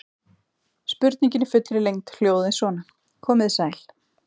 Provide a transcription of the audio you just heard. Spurningin í fullri lengd hljóðaði svona: Komið þið sæl.